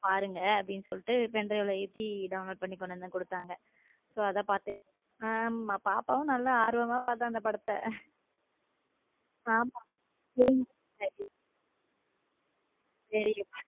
பாருங்க அப்படின்னு சொல்லிட்டு pendrive ல ஏத்தி download பண்ணி கொண்டு வந்து கொடுத்தாங்க சோ அத பார்த்தேன் ஆமா பாப்பாவும் நல்லா ஆர்வமாக பார்த்த அந்த படத்த ஆமா புரிஞ்சு சேரி.